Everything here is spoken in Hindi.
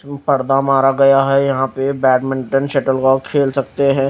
पर्दा मारा गया है यहां पे बैडमिंटन शटल कॉक खेल खेल सकते हैं।